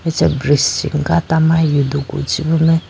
acha bridge chi gata ma yudugru chi bume.